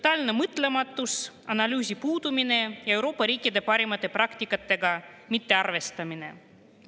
Totaalne mõtlematus, analüüsi puudumine, Euroopa riikide parimate praktikatega mittearvestamine.